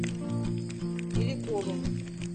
беликовым